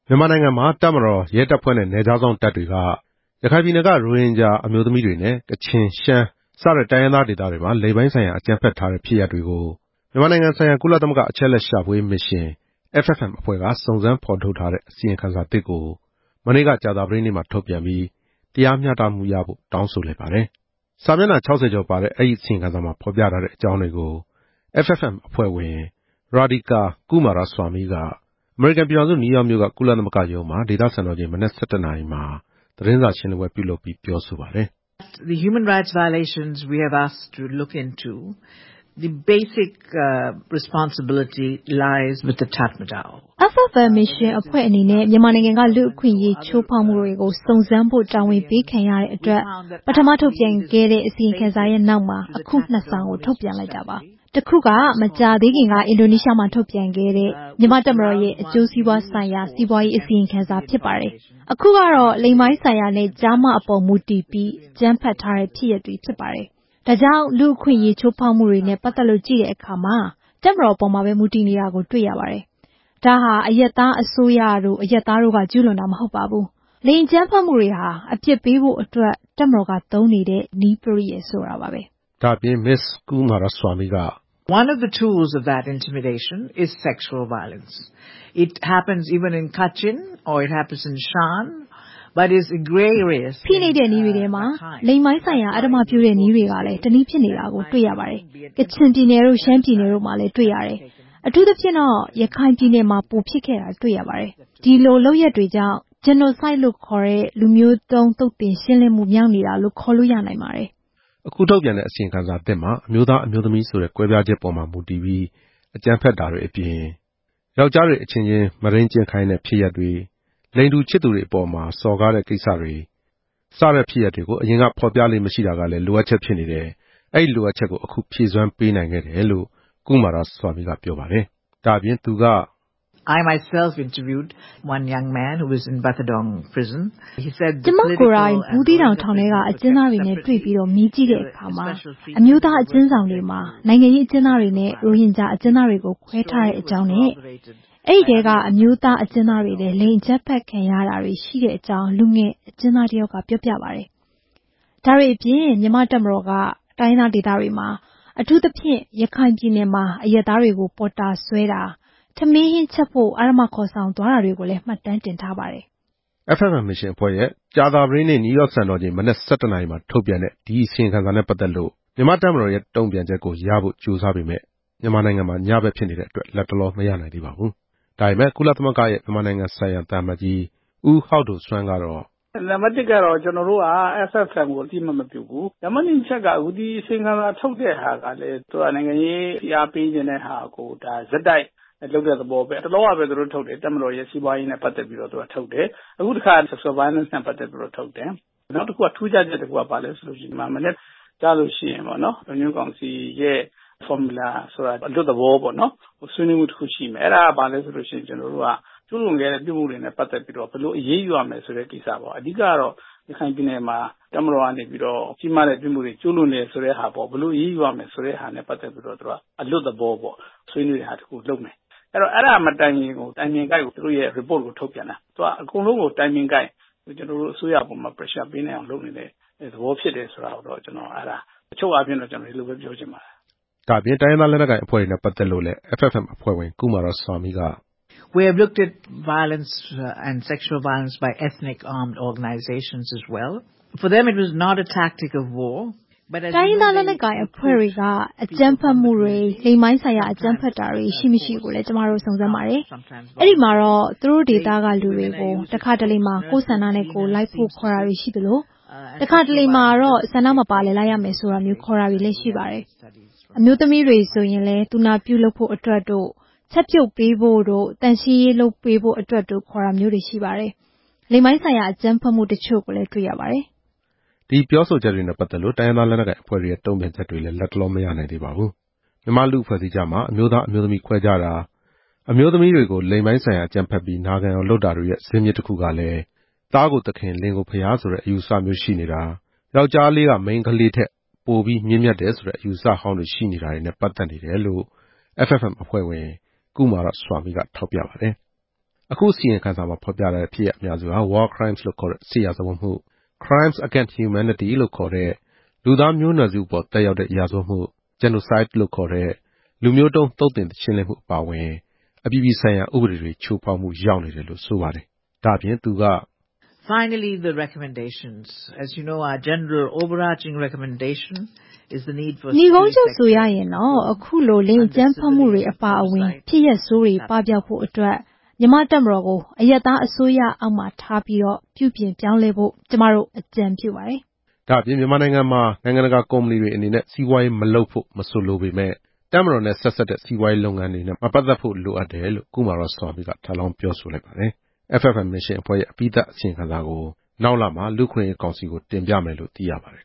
မြန်မာနိုင်ငံမှာ တပ်မတော်၊ရဲတပ်ဖွဲ့နဲ့ နယ်ခြားစောင့်တပ်တွေက ရခိုင်ပြည်နယ်က ရိုဟင်ဂျာတွေ အမျိုးသမီးတွေနဲ့ ကချင်၊ ရှမ်းစတဲ့ တိုင်းရင်းသားဒေသတွေမှာ လိင်ပိုင်းဆိုင်ရာ အကြမ်းဖက်ထားတဲ့ဖြစ်ရပ်တွေကို မြန်မာနိုင်ငံဆိုင်ရာ ကုလသမဂ္ဂအချက်အလက်ရှာဖွေရေးမစ်ရှင် FFM က စုံစမ်းဖော်ထုတ်ထားတဲ့ အစီရင်ခံစာသစ်ကို မနေ့ကကြာသပတေးနေ့မှာ ထုတ်ပြန်ပြီး တရားမျှတမှုရဖို့ တောင်းဆိုလိုက်ပါတယ်။ ဒီအစီရင်ခံစာမှာ ဖော်ပြထားတဲ့အကြောင်းတွေကို FFM အဖွဲ့ဝင် ရာဒီကာကုမာရဆွာမိက အမေရိကန် ပြည်ထောင်စု နယူးယောက်မြို့က ကုလသမဂ္ဂရုံးမှာ ဒေသစံတော်ချိန်မနက် ၁၁ နာရီမှာသတင်းစာ ရှင်းလင်းပွဲပြုလုပ်ပြီး ပြောဆိုပါတယ်။ “FFM မစ်ရှင်အဖွဲ့အနေနဲ့ မြန်မာနိုင်ငံက လူ့အခွင့်အရေးချိုးဖောက်မှုတွေကို စုံစမ်းဖို့တာဝန်ပေးခံရတဲ့ အတွက် ပထမထုတ်ပြန်ခဲ့တဲ့အစီရင်ခံစာရဲ့နောက်မှာ အခုနှစ်စောင်ထုတ်ပြန်လိုက်တာပါ။ တခုက မကြာသေးခင်က အင်ဒိုနီးရှားမှာ ထုတ်ပြန်ခဲ့တဲ့ မြန်မာ့တပ်မတော်ရဲ့ အကျိုးစီးပွားဆိုင်ရာစီးပွားရေး အစီရင်ခံစာဖြစ်ပါတယ်။အခုကတော့ လိင်ပိုင်းဆိုင်ရာနဲ့ ကျားမအပေါ်မူတည်ပြီးအကြမ်းဖက်ထားတဲ့ ဖြစ်ရပ်တွေဖြစ်ပါတယ်။ ဒါကြောင့်လူ့အခွင့်အရေးချိုးဖောက်မှုတွေနဲ့ ပတ်သက်လို့ကြည့်တဲ့အခါမှာ တပ်မတော်အပေါ်မှာပဲ မူတည်နေတာတွေ့ရပါတယ်။ ဒါဟာ အရပ်သားအစိုးရတို့ အရပ်သားတို့က ကျူးလွန်တာမဟုတ်ပါဘူး။ လိင်အကြမ်းဖက်မှုတွေဟာ အပြစ်ပေးဖို့အတွက် တပ်မတော်ကသုံးနေတဲ့ နည်းပရိယာယ်ဆိုတာပါပဲ” ဒါ့အပြင် မစ္စကုမာရဆွာမိက.... “ ဖိနှိပ်တဲ့နည်းတွေထဲမှာ လိင်ပိုင်းဆိုင်ရာအဓမ္မပြုတဲ့နည်းကလည်း တနည်းဖြစ်နေတာတွေ့ရပါတယ်။ ကချင်ပြည်နယ်၊ ရှမ်းပြည်နယ်မှာလည်း တွေ့ရတယ်။ အထူးသဖြင့်တော့ ရခိုင်ပြည်နယ်မှာ ပိုဖြစ်ခဲ့တာ တွေ့ရပါတယ်။ ဒီလုပ်ရပ်တွေကြောင့် ဂျနိုဆိုဒ်လို့ခေါ်တဲ့ လူမျိုးတုန်း သုတ်သင်ရှင်းလင်းမှုမြောက်နေတာလို့ ခေါ်လို့ရနိုင်ပါတယ်” ဒါ့အပြင် အခုထုတ်ပြန်တဲ့အစီရင်ခံစာသစ်မှာ အမျိုးသား၊ အမျိုးသမီးဆိုတဲ့ ကွဲပြားချက်ပေါ်မှာ မူတည်ပြီး အကြမ်းဖက်တာတွေအပြင်၊ ယောကျ်ားလေးအချင်းချင်း မုဒိန်းကျင့်ခိုင်းတာ၊ လိင်တူချစ်သူ တွေအပေါ်မှာ စော်ကားတာ စတဲ့ဖြစ်ရပ်တွေကို ဖော်ပြလေ့မရှိခဲ့တာကလည်း လိုအပ်ချက်ဖြစ်နေတယ်။ အဲဒီလိုအပ်ချက်ကို အခုဖြည့်စွမ်းပေးနိုင်ခဲ့တယ် လို့ ကုမာရဆွာမိကပြောပါတယ်။ ဒါနဲ့ပတ်သက်လို့ ကုမာရဆွာမိက “ကျွန်မကိုယ်တိုင် ဘူးသီးတောင်ထောင်ထဲက အကျဉ်းသားတွေနဲ့တွေ့ပြီး မေးကြည့်တဲ့အခါ အမျိုးသားအကျဉ်းဆောင်တွေမှာ နိုင်ငံရေးအကျဉ်းသားတွေနဲ့ ရိုဟင်ဂျာအကျဉ်းသားတွေကို ခွဲထားတဲ့အကြောင်း၊ အဲဒီထဲက အမျိုးသားအကျဉ်းသားတချို့လည်း လိင်အကြမ်းဖက်ခံရတာရှိတဲ့အကြောင်း လူငယ်အကျဉ်းသားတယောက်က ပြောပြတယ်” ဒါ့အပြင် မြန်မာ့တပ်မတော်က တိုင်းရင်းသားဒေသတွေမှာ၊ အထူးသဖြင့် ရခိုင်ပြည်နယ်မှာ အရပ်သားတွေ ကိုပေါ်တာဆွဲတာ၊ ထမင်းဟင်းချက်ဖို့ အဓမ္မခေါ်ဆောင်သွားတာတွေလဲ မှတ်တမ်းတင်ထားတယ်လို့ ဆိုပါတယ်။ FFM မစ်ရှင်အဖွဲ့ရဲ့ ကြာသပတေးနေ့ နယူးယောက်စံတော်ချိန် မနက် ၁၁ နာရီမှာ ထုတ်ပြန်တဲ့ ဒီအစီရင်ခံစာနဲ့ပတ်သက်လို့ မြန်မာ့တပ်မတော်ရဲ့တုံ့ပြန်ချက်ကိုရဖို့ ကြိုးစားပေမယ့် မြန်မာနိုင်ငံမှာ ညဖက်ဖြစ်နေတဲ့အတွက် လတ်တလောမရနိုင်သေးပါဘူး။ ဒါပေမယ့် ကုလသမဂ္ဂရဲ့ မြန်မာနိုင်ငံဆိုင်ရာသံအမတ်ကြီး ဦးဟောက်ဒိုစွမ်းကတော့ “နံပါတ်တစ် အချက်က FFM အဖွဲ့ကို ကျနော်တို့ အသိအမှတ်မပြုဘူး၊ နံပါတ်နှစ်အချက်က ဒီအစီရင်ခံစာကို ထုတ်ပြန်တာ အသစ်အဆန်းလည်း မပါဘူး။ ထူးခြားတာတခုက မနက်ဖြန် သြဂုတ်လ ၂၃ ရက်နေ့ကျရင် လုံခြုံရေးကောင်စီရဲ့ဖော်မြူလာဆိုတာ အလွတ်သဘောဆွေးနွေးတာပေါ့နော်။ အဲဒီမှာ မြန်မာ့တပ်မတော်က အထူးသဖြင့် ရခိုင်ပြည်နယ်မှာ ကျူးလွန်ထားတယ်ဆိုတဲ့ဟာတွေကို ဘယ်လိုအရေးယူမလဲဆိုတာ ဆွေးနွေးကြမယ်။ အဲဒီမတိုင်ခင်မှာ ဒီအစီရင်ခံစာကို ချိန်ကိုက်ထုတ်ပြန်တာ။ အချုပ်ပြောရရင် ကျနော်တို့အစိုးရကို ဖိအားပေးနိုင်အောင်လုပ်နေတာလို့ပဲ ပြောချင်ပါတယ်” တိုင်းရင်းသားလက်နက်ကိုင်အဖွဲ့တွေနဲ့ ပတ်သက်လို့လည်း FFM အဖွဲ့က စုံစမ်းထားတာကိုလည်း ကုမာရဆွာမိက…. “ တိုင်းရင်းသားလက်နက်ကိုင်အဖွဲ့တွေမှာလည်း အကြမ်းဖက်မှုတွေ၊ လိင်ပိုင်းဆိုင်ရာ အကြမ်းဖက်တာတွေ ရှိ-မရှိကိုလည်း ကျွန်မတို့ စုံစမ်းပါတယ်။ အဲဒီမှာတော့ သူတို့ဒေသကလူတွေကို တခါတလေမှာ ကိုယ့်ဆန္ဒနဲ့ကိုယ် လိုက်ပါဖို့ခေါ်တာတွေရှိသလို၊ တခါတလေမှာတော့ဆန္ဒမပါလည်း လိုက်ရမယ်ဆိုတာမျိုး ခေါ်တာတွေရှိတယ်။ အမျိုးသမီးတွေဆိုရင်လည်း သူနာပြုအတွက်တို့ ချက်ပြုတ်ပေးဖို့တို့ သန့်ရှင်းရေးအတွက်တို့ ခေါ်တာရှိတယ်။ လိင်ပိုင်းဆိုင်ရာ အကြမ်းဖက်မှုတချို့လည်း တွေ့ရတယ်” ဒီပြောဆိုချက်နဲ့ ပတ်သက်လို့ တိုင်းရင်းသားလက်နက်ကိုင်အဖွဲ့တွေရဲ့တုံ့ပြန်ချက်တွေလည်း လတ်တလောမရနိုင်သေးပါဘူး။ မြန်မာ့လူ့အဖွဲ့အစည်းကြားမှာ အမျိုးသား၊ အမျိုးသမီးခွဲခြားတာ၊ အမျိုးသမီးတွေကို လိင်ပိုင်းဆိုင်ရာ အကြမ်းဖက်ပြီး၊ နာခံအောင်လုပ်တာတွေရဲ့ ဇာစ်မြစ်တခုကလည်း သားကိုသခင် လင်ကိုဘုရားဆိုတဲ့ အယူအဆ၊ ယောက်ျားလေးက မိန်းကလေးထက်ပိုပြီးမြင့်မြတ်တာဆိုတဲ့ အယူအဆဟောင်းတွေနဲ့ ပတ်သက်နေတယ်လို့ FFM အဖွဲ့ဝင် ကုမာရဆွာမိက ထောက်ပြပါတယ်။ အခုအစီရင်ခံစာမှာ ဖော်ပြထားတဲ့ ဖြစ်ရပ်အများစုဟာ War Crimes လို့ခေါ်တဲ့ စစ်ရာဇဝတ်မှု၊ Crimes against Humanity လို့ခေါ်တဲ့ လူသားမျိုးနွယ်စုအပေါ်သက်ရောက်တဲ့ရာဇဝတ်မှု၊ Genocide လို့ခေါ်တဲ့ လူမျိုးတုန်းသုတ်သင်ရှင်းလင်းမှုအပါအဝင် အပြည်ပြည်ဆိုင်ရာ ဥပဒေတွေချိုးဖောက်မှုရောက်နေတယ်လို့ ဆိုပါတယ်။ ဒါ့အပြင် ကုမာရဆွာမိက…. “အချုပ်အားဖြင့်ဆိုရင်တော့ အခုလိုလိင်အကြမ်းဖက်မှုတွေအပါအဝင် ဖြစ်ရပ်ဆိုးတွေပပျောက်ဖို့ အတွက် မြန်မာ့တပ်မတော်ကို အရပ်သားအစိုးရ အောက်ထားပြီး၊ ပြုပြင် ပြောင်းလဲဖို့ ကျွန်မတို့အကြံပြုပါတယ်” လို့ပြောလိုက်ပါတယ်။ ဒါ့အပြင် မြန်မာနိုင်ငံမှာ နိုင်ငံတကာကုမ္ပဏီတွေအနေနဲ့ စီးပွားရေးမလုပ်ဖို့မဆိုလိုပေမယ့်၊ တပ်မတော်နဲ့ ဆက်စပ်တဲ့စီးပွားရေးလုပ်ငန်း တွေနဲ့ ပတ်သက်ဖို့ လိုအပ်တယ်လို့ ကုမာရဆွာမိက ထပ်လောင်း ပြောဆိုလိုက်ပါတယ်။ FFM မစ်ရှင်အဖွဲ့ရဲ့အပြီးသတ်အစီရင်ခံစာကို နောက်လမှာ လူ့အခွင့်အရေးကောင်စီကို တင်ပြမယ်လို့ သိရပါတယ်